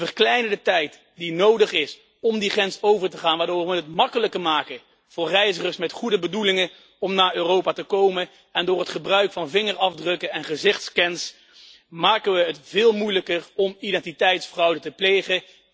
We verkleinen de tijd die nodig is om die grens over te gaan, waardoor we het makkelijker maken voor reizigers met goede bedoelingen om naar Europa te komen, en door het gebruik van vingerafdrukken en gezichtsscans maken we het veel moeilijker om identiteitsfraude te plegen.